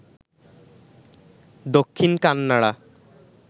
Dakshin Kannada